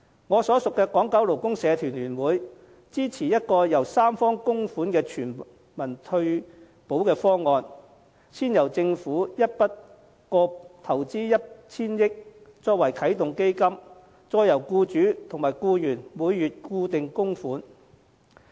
我所屬的港九勞工社團聯會支持一個由三方供款的全民退保方案，先由政府一筆過投放 1,000 億元作啟動基金，再由僱主及僱員每月固定供款。